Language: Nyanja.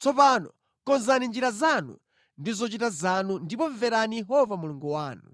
Tsopano konzani njira zanu ndi zochita zanu ndipo mverani Yehova Mulungu wanu.